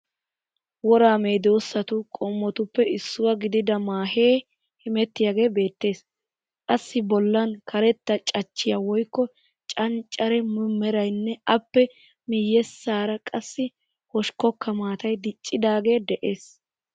Woraa medoosatu qommotuppe issuwa gidida maahe hemmettiyagee beettees. Assi bollan karetta cachchaayi woyikko canccarenne merayinne appe miyyessaara qassi hoshikkokka maatayi diccidaagee de'ees.